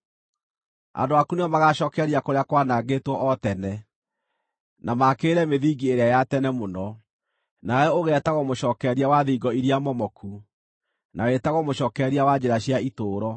Andũ aku nĩo magaacookereria kũrĩa kwaanangĩtwo o tene, na maakĩrĩre mĩthingi ĩrĩa ya tene mũno; nawe ũgeetagwo Mũcookereria wa Thingo iria Momoku, na wĩtagwo Mũcookereria wa Njĩra cia Itũũro.